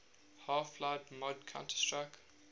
half life mod counter strike